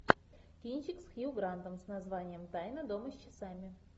кинчик с хью грантом с названием тайна дома с часами